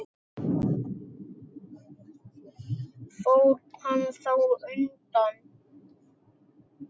Fór hann þá undan.